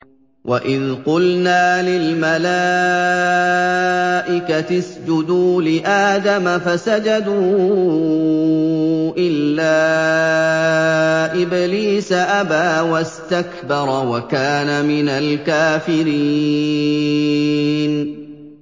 وَإِذْ قُلْنَا لِلْمَلَائِكَةِ اسْجُدُوا لِآدَمَ فَسَجَدُوا إِلَّا إِبْلِيسَ أَبَىٰ وَاسْتَكْبَرَ وَكَانَ مِنَ الْكَافِرِينَ